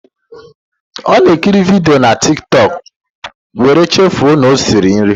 Ọ na ekiri vidio na Tiktọk, wéré chefuo na ọ na-esi nri